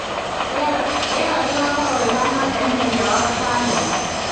Rĩera rĩgaakorũo rĩhaana atĩa mũthenya wa gatano